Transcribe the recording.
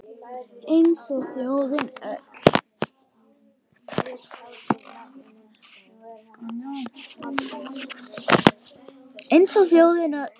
Eins og þjóðin öll